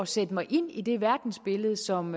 sætte mig ind i det verdensbillede som